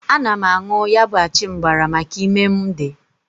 Ana m añụ ya bụ achịmgbara maka ime mụ dị.